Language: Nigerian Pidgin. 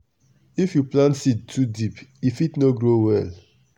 if you plant seed too deep e fit no grow well.